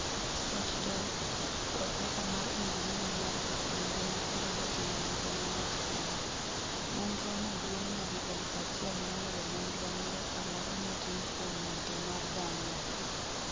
Scott Delp, profesa mar injinia mar gik mangima kendo jatim nonro nowacho kama: Nonro no duong' nyadi 1000 moloyo nonro moro amora motim kuom wuotho ​​mar dhano.